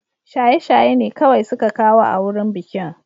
Shaye-shaye ne kawai suka kawo a wurin bikin